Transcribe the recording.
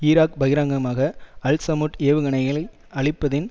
Iraq பகிரங்கமாக Al Samoud ஏவுகணைகளை அழிப்பதின்